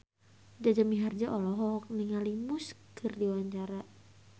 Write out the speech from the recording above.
Jaja Mihardja olohok ningali Muse keur diwawancara